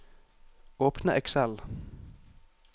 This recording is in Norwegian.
Åpne Excel